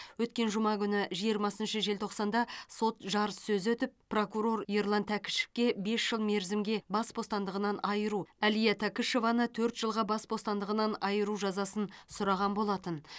өткен жұма күні жиырмасыншы желтоқсанда сот жарыссөзі өтіп прокурор ерлан тәкішевке бес жыл мерзімге бас бостандығынан айыру әлия тәкішеваны төрт жылға бас бостандығынан айыру жазасын сұраған болатын